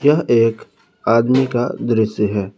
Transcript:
यह एक आदमी का दृश्य है।